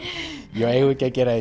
jú eigum við ekki að gera